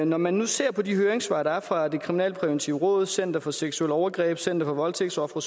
når man nu ser på de høringssvar der er fra det kriminalpræventive råd center for seksuelle overgreb center for voldtægtsofre